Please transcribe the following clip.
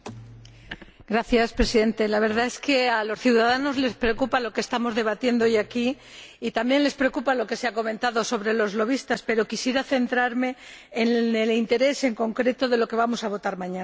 Señor Presidente, la verdad es que a los ciudadanos les preocupa lo que estamos debatiendo hoy aquí, y también les preocupa lo que se ha comentado sobre los pero quisiera centrarme, en concreto, en el interés de lo que vamos a votar mañana.